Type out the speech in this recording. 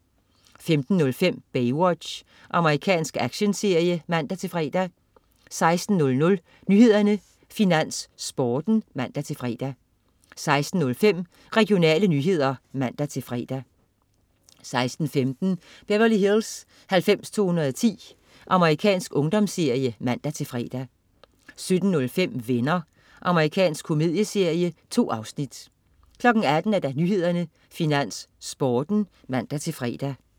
15.05 Baywatch. Amerikansk actionserie (man-fre) 16.00 Nyhederne, Finans, Sporten (man-fre) 16.05 Regionale nyheder (man-fre) 16.15 Beverly Hills 90210. Amerikansk ungdomsserie (man-fre) 17.05 Venner. Amerikansk komedieserie. 2 afsnit 18.00 Nyhederne, Finans, Sporten (man-fre)